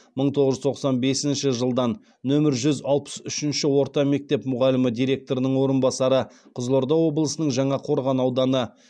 мың тоғыз жүз тоқсан бесінші жылдан нөмір жүз алпыс үшінші орта мектеп мұғалімі директорының орынбасары